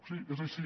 sí és així